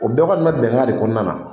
O bɛɛ kɔni be bɛnkan de kɔnɔna na.